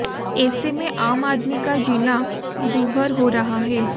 ऐसे में आम आदमी का जीना दूभर हो रहा है